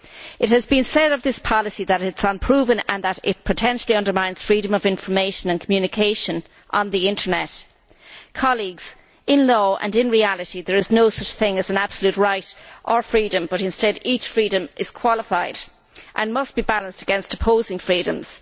It has been said of this policy that it is unproven and that it potentially undermines freedom of information and communication on the Internet. Colleagues, in law and in reality there is no such thing as an absolute right or freedom, but instead each freedom is qualified and must be balanced against opposing freedoms.